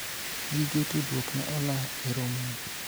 gige tudruok ne ola e romo no